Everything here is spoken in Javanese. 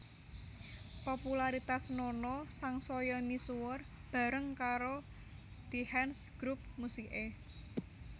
Popularitas Nono sangsaya misuwur bareng karo The Hands grup musiké